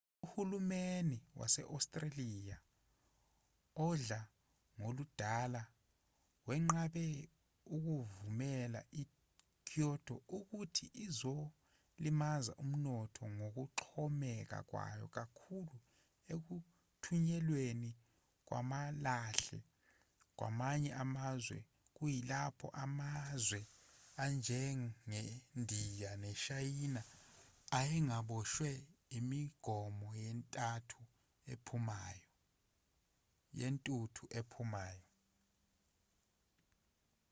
uhulumeni wase-australia odla ngoludala wenqabe ukuvumela ikyoto uthi izolimaza umnotho ngokuxhomeka kwayo kakhulu ekuthunyelweni kwamalahle kwamanye amazwe kuyilapho amazwe anjengendiya neshayina ayengaboshwe imigomo yentuthu ephumayo